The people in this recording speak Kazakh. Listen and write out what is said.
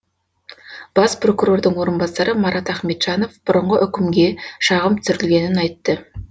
бас прокурордың орынбасары марат ахметжанов бұрынғы үкімге шағым түсірілгенін айтты